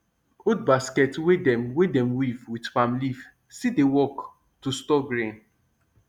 old basket wey dem wey dem weave with palm leaf still dey work to store grain